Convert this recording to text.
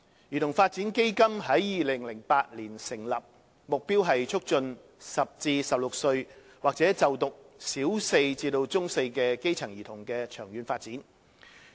兒童發展基金於2008年成立，目標是促進10歲至16歲或就讀小四至中四的基層兒童的長遠發展。